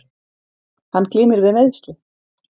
Hann glímir við meiðsli